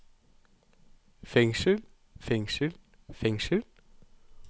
fengsel fengsel fengsel